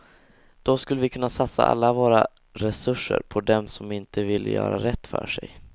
Då skulle vi kunna satsa alla våra resurser på dem som inte vill göra rätt för sig.